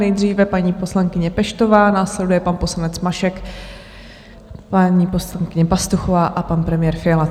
Nejdříve paní poslankyně Peštová, následuje pan poslanec Mašek, vládní poslankyně Pastuchová a pan premiér Fiala.